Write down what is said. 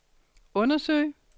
undersøge